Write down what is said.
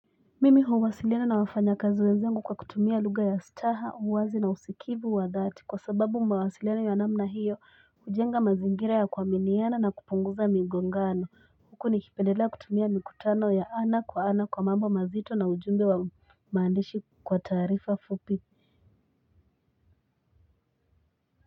Mimi huwasiliana na wafanya kazi wenzangu kwa kutumia lugha ya staha, uwazi na usikivu wa dhati, kwa sababu mawasiliano ya namna hiyo hujenga mazingira ya kuaminiana na kupunguza migongano, huku nikipendelea kutumia mikutano ya ana kwa ana kwa mambo mazito na ujumbe wa maandishi kwa taarifa fupi.